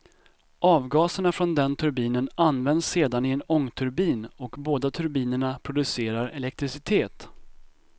Avgaserna från den turbinen används sedan i en ångturbin och båda turbinerna producerar elektricitet.